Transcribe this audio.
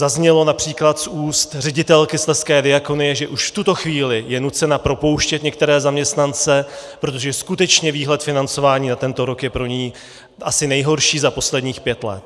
Zaznělo například z úst ředitelky Slezské diakonie, že už v tuto chvíli je nucena propouštět některé zaměstnance, protože skutečně výhled financování na tento rok je pro ni asi nejhorší za posledních pět let.